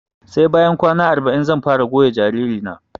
Sai bayan kwana arba'in zan fara goya jariri na